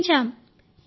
నిర్ణయించాం